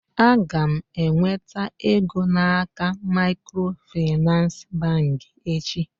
Aga m enweta ego n'aka macro Finance bank echi.